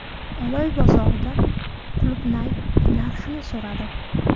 − Oloy bozorida qulupnay narxini so‘radim.